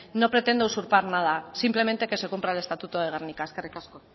no pretendo usurpar nada simplemente que se cumpla el estatuto de gernika eskerrik asko